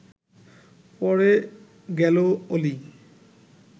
পড়ে গেল অলি